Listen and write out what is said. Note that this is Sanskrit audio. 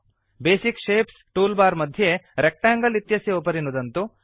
बेसिक शेप्स टूल् बार् मध्ये रेक्टेंगल इत्यस्य उपरि नुदन्तु